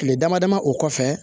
Kile dama dama o kɔfɛ